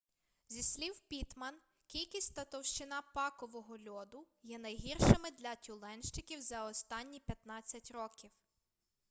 зі слів піттман кількість та товщина пакового льоду є найгіршими для тюленщиків за останні 15 років